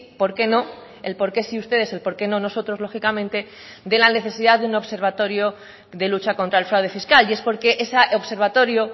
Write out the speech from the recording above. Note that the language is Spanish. por qué no el por qué sí ustedes el por qué no nosotros lógicamente de la necesidad de un observatorio de lucha contra el fraude fiscal y es porque ese observatorio